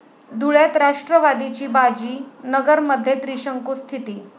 धुळ्यात राष्ट्रवादीची बाजी, नगरमध्ये त्रिशंकू स्थिती